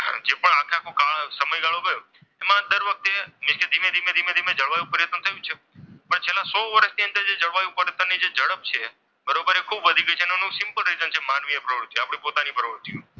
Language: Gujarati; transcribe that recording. છેલ્લા સો વર્ષથી જળવાયુ પરિવર્તનની જે ઝડપ છે તે બરોબર છે તે ખૂબ વધી ગયું છે અને એનું સિમ્પલ રિઝલ્ટ છે માનવીય પ્રવૃત્તિ જે આપણી પોતાની પ્રવૃત્તિઓ છે.